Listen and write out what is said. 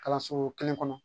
Kalanso kelen kɔnɔ